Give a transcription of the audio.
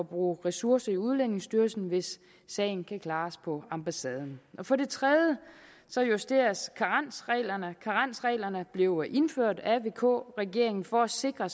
bruge ressourcer i udlændingestyrelsen hvis sagen kan klares på ambassaden for det tredje justeres karensreglerne karensreglerne blev indført af vk regeringen for at sikre